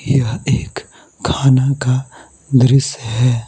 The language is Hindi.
यह एक खाना का दृश्य है।